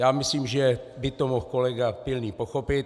Já myslím, že by to mohl kolega Pilný pochopit.